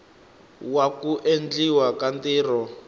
wa ku endliwa ka ntirho